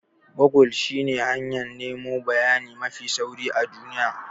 Gogul shine hanyar nemo bayani mafi sauri a duniya.